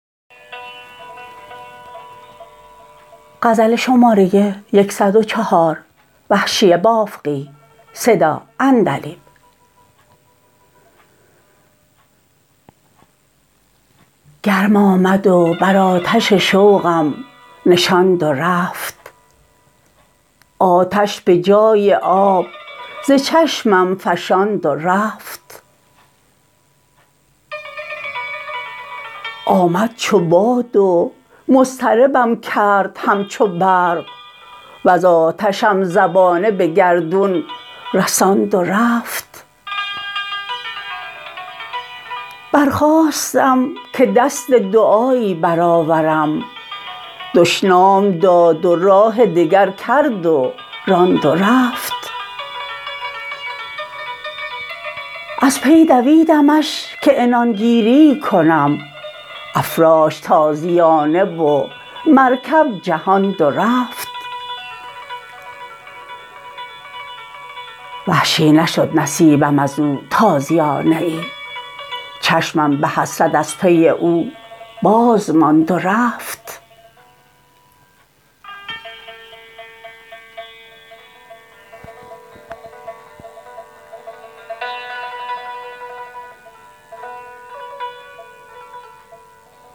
گرم آمد و بر آتش شوقم نشاند و رفت آتش به جای آب ز چشمم فشاند و رفت آمد چو باد و مضطربم کرد همچو برق وز آتشم زبانه به گردون رساند و رفت برخاستم که دست دعایی برآورم دشنام داد و راه دگر کرد و راند و رفت از پی دویدمش که عنان گیریی کنم افراشت تازیانه و مرکب جهاند و رفت وحشی نشد نصیبم ازو تازیانه ای چشمم به حسرت از پی او بازماند و رفت